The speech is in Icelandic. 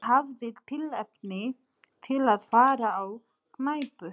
Hann hafði tilefni til að fara á knæpu.